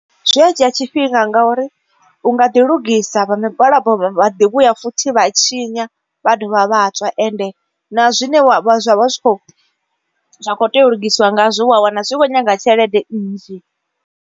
Zwi a dzhia tshifhinga ngauri u nga ḓi lugisa vha migwalabo vha ḓi vhuya futhi vha tshinya. Vha dovha vhatswa ende na zwine zwa vha zwi kho zwa kho tea u lugisiwa ngazwo wa wana zwi vho nyaga tshelede nnzhi.